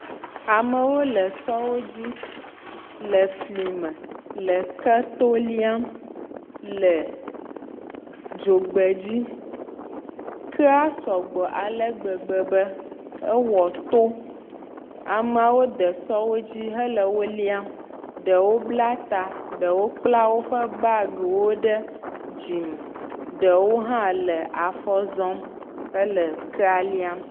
Amewo le sɔwo dzi le fli me le keto líam le dzogbe dzi. Kea sɔgbɔ ale gbegbe be ewɔ to. Ameawo de sɔwodzi hele wo líam. Ɖewo bla ta, ɖewo kpla woƒe bagi wo ɖe dzime. Ɖewo hã le afɔ zɔm hele kea líam.